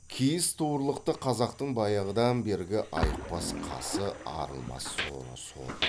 киіз туырлықты қазақтың баяғыдан бергі айықпас қасы арылмас соры сол